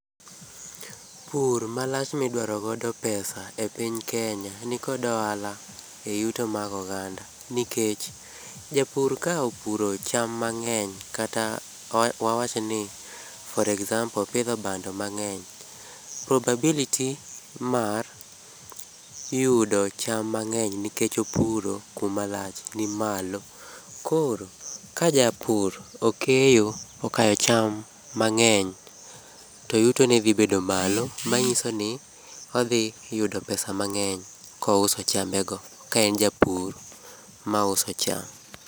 Pur malach midwaro godo pesa e piny Kenya nikod ohala e yuto mag oganda nikech, japur ka opuro cham mang'eny kata wawach ni for example opidho bando mang'eny, probability mar yudo cham mang'eny nikech opuro kuma lach nimalo. Koro, ka japur okeyo okayo cham mang'eny to yuto ne dhi bedo malo manyiso ni odhi yudo pesa mang'eny kouso chambe go ka en japur ma uso cham.